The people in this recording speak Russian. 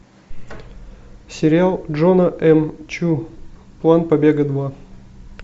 сериал джона м чу план побега два